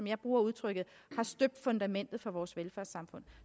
jeg bruger udtrykket støbt fundamentet for vores velfærdssamfund